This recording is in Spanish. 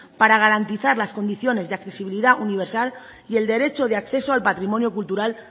para garantizar las condiciones de accesibilidad universal y el derecho de acceso al patrimonio cultural